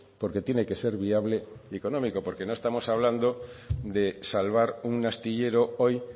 porque tiene que ser viable y económico por qué no estamos hablando de salvar un astillero hoy